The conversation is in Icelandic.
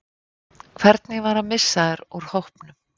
Hvernig var að missa þær úr hópnum?